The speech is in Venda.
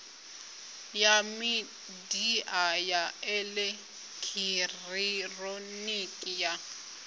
ya midia ya elekihironiki ya